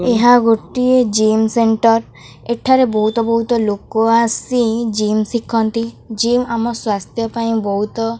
ଏହା ଗୋଟିଏ gym centre ଏଠାରେ ବୋହୁତ ବୋହୁତ ଲୋକ ଆସି ଜିମ ଶିଖନ୍ତି ଜିମ ଆମ ସ୍ଵାସ୍ଥ୍ୟପାଇଁ ବୋହୁତ --